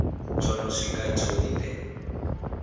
tsho no siwka tsho lindela